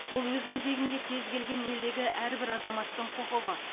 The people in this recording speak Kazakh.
бұл өз кезегінде кез келген елдегі әрбір азаматтық құқығы